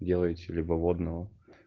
делайте либо водного